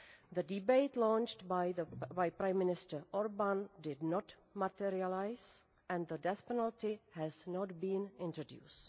The debate launched by Prime Minister Orbán did not materialise and the death penalty has not been introduced.